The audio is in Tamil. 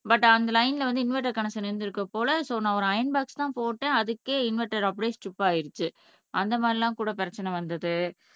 பட் அந்த லைன்ல வந்து இன்வெர்டர் கனெக்ஸன் இருந்திருக்கு போல சோ நான் ஒரு ஐயன் போக்ஸ்தான் போட்டேன் அதுக்கே இன்வெர்டர் அப்படியே ஸ்டிப் ஆயிருச்சு அந்த மாதிரி எல்லாம்கூட பிரச்சனை வந்தது